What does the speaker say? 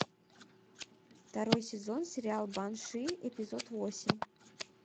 второй сезон сериал банши эпизод восемь